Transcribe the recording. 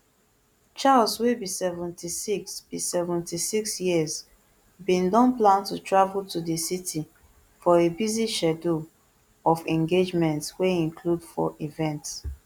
charles wey be seventy-six be seventy-six years bin don plan to travel to di city for a busy schedule of engagements wey include four events